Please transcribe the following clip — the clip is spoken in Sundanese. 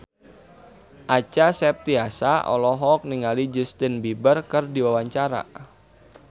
Acha Septriasa olohok ningali Justin Beiber keur diwawancara